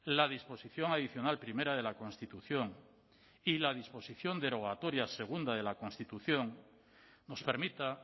la disposición adicional primera de la constitución y la disposición derogatoria segunda de la constitución nos permita